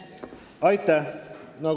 Aitäh!